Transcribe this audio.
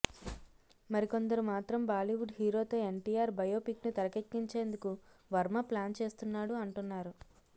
మరి కొందరు మాత్రం బాలీవుడ్ హీరోతో ఎన్టీఆర్ బయో పిక్ను తెరకెక్కించేందుకు వర్మ ప్లాన్ చేస్తున్నాడు అంటున్నారు